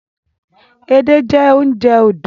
Edé jẹ́ oúnjẹ odò